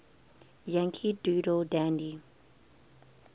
yankee doodle dandy